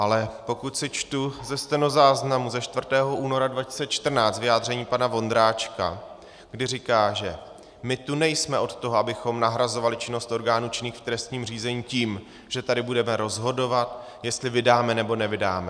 Ale pokud si čtu ze stenozáznamu ze 4. února 2014 vyjádření pana Vondráčka, kdy říká, že "my tu nejsme od toho, abychom nahrazovali činnosti orgánů činných v trestním řízení tím, že tady budeme rozhodovat, jestli vydáme, nebo nevydáme.